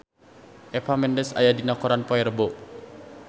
Eva Mendes aya dina koran poe Rebo